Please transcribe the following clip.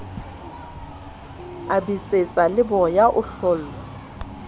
a betsetsa leboya o hlollwa